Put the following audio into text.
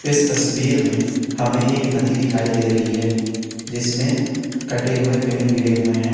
इस तस्वीर में हमें एक नदी दिखाई दे रही है जिसमे कटे हुए पेड़ गिरे हुए है।